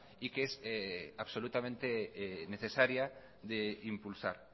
y que es absolutamente necesaria de impulsar